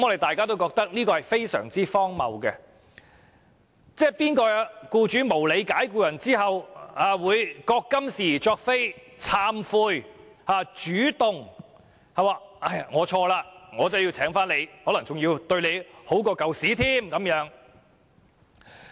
這是極之荒謬的安排，哪有僱主在無理解僱後會自覺今是而昨非，懂得認錯懺悔，主動重新聘用相關僱員，而且比以前善待僱員？